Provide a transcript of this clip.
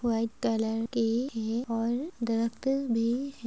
white colour के है और डार्क --